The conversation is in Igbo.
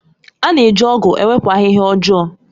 A na-eji ọ̀gu ewepụ ahịhịa ọjọọ.